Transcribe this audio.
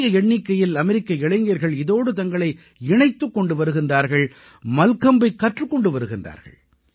பெரிய எண்ணிக்கையில் அமெரிக்க இளைஞர்கள் இதோடு தங்களை இணைத்துக் கொண்டு வருகின்றார்கள் மல்கம்பைக் கற்றுக் கொண்டு வருகின்றார்கள்